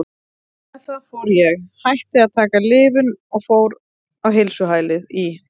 Með það fór ég, hætti að taka lyfin og fór á heilsuhælið í